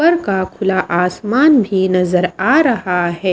का खुला आसमान भी नजर आ रहा है।